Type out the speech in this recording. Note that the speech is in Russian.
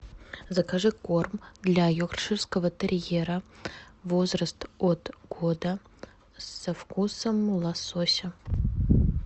закажи корм для йоркширского терьера возраст от года со вкусом лосося